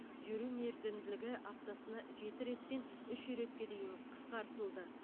жүру мерзімділігі аптасына жеті реттен үш ретке дейін қысқартылды